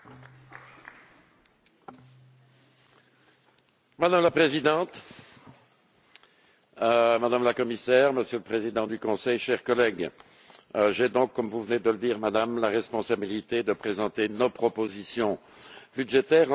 Madame la Présidente, Madame la Commissaire, Monsieur le Président du Conseil, chers collègues, j'ai donc comme vous venez de le dire, Madame, la responsabilité de présenter nos propositions budgétaires en ce qui concerne ce que l'on appelle les autres institutions.